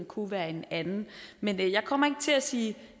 kunne være en anden men jeg kommer til at sige